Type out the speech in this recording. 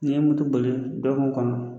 Ne ye mutu bali dɔ ka kɔlɔn